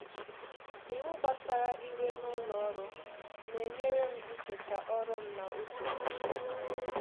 Iwu gbasara ị́wè n’ụlọ̀ ọrụ́ na-enyere m icheta ọrụ m na usoro m.